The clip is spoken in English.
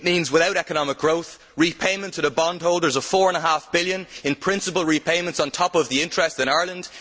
It means, without economic growth, repayment to the bondholders of four and a half billion euros in principal repayments on top of the interest in Ireland